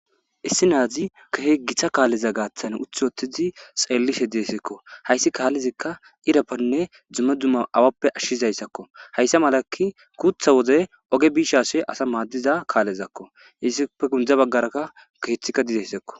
Issi nazi kehi gita kaleza gatan utiwotidi xelishe dizaysakko haysi kalezika ira boli duma duma awappe ashizaysakko haysa mala guta wode oge bishe asa madiza kalezakko izipe gunze bagaraka kethika dezaysakko.